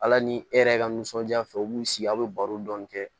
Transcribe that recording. Ala ni e yɛrɛ ka nisɔndiya fɛ u b'u sigi aw bɛ baro dɔɔnin kɛ